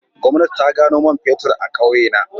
Gwamnati ta gano man fetur a kauyena